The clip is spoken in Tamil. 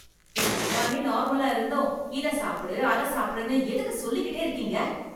எனக்கு எல்லாமே நார்மலா இருந்தும் இத சாப்பிடு அதை சாப்பிடு என்று எதுக்கு சொல்லிக்கிட்டே இருக்கீங்க